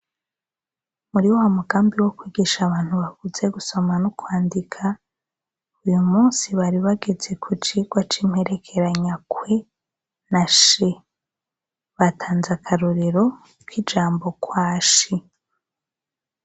Muri wa mugambi wo kwigisha abantu bakuze gusoma no kwandika, uyu munsi bari bagese ku cigwa c'imperekeranywa kw na sh. Batanze akarorero k'ijambo kwashi.